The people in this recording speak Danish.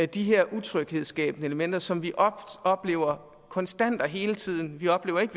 de her utryghedsskabende elementer som vi oplever konstant og hele tiden vi oplever ikke